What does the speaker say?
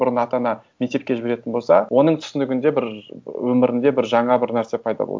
бұрын ата ана мектепке жіберетін болса оның түсінігінде бір өмірінде бір жаңа бір нәрсе пайда болды